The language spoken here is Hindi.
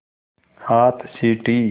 हाथ सीटी